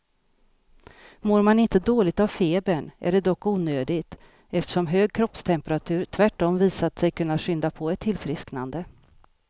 Mår man inte dåligt av febern är det dock onödigt, eftersom hög kroppstemperatur tvärtom visat sig kunna skynda på ett tillfrisknande.